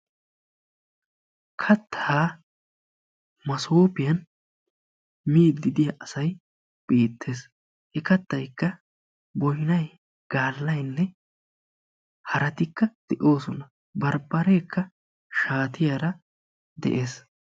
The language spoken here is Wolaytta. Kattaa masoofiyan miiddii diya asayi beettes. He kattaykka boynayi, gaallayinne haraatikka de"oosona. Barbbareekka shaatiyara de'es.